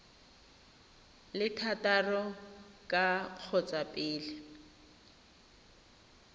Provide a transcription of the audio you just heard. le thataro ka kgotsa pele